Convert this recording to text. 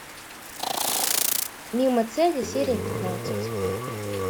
мимо цели серия пятнадцать